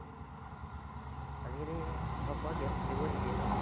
আজিকালি ঘৰৰপৰা game খেলিব নিদিয়ে ন?